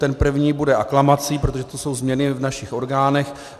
Ten první bude aklamací, protože to jsou změny v našich orgánech.